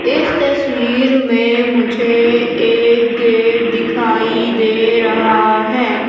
इस तस्वीर में मुझे एक गेट दिखाई दे रहा हैं।